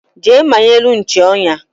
Jee manyelu nchi onya